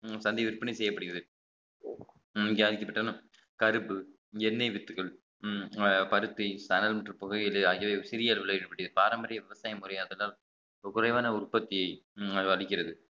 உம் சந்தை விற்பனை செய்யப்படுகிறது உம் இங்கே அரிக்கப்பட்டாலும் கருப்பு எண்ணெய் வித்துக்கள் உம் பருத்தி சணல் மற்றும் புகையிலை ஆகியவை சிறிய அளவிலே இருக்கக்கூடிய பாரம்பரிய விவசாய முறையாக்குதல் குறைவான உற்பத்தியை அது அளிக்கிறது